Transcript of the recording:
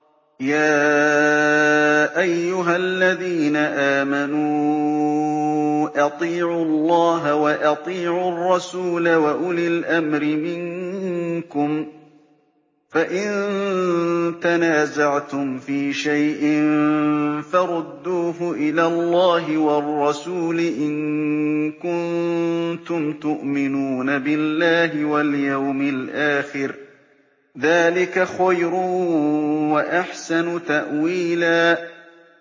يَا أَيُّهَا الَّذِينَ آمَنُوا أَطِيعُوا اللَّهَ وَأَطِيعُوا الرَّسُولَ وَأُولِي الْأَمْرِ مِنكُمْ ۖ فَإِن تَنَازَعْتُمْ فِي شَيْءٍ فَرُدُّوهُ إِلَى اللَّهِ وَالرَّسُولِ إِن كُنتُمْ تُؤْمِنُونَ بِاللَّهِ وَالْيَوْمِ الْآخِرِ ۚ ذَٰلِكَ خَيْرٌ وَأَحْسَنُ تَأْوِيلًا